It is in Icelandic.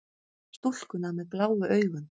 Stúlkuna með bláu augun.